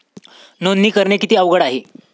नोंदणी करणे किती अवघड आहे?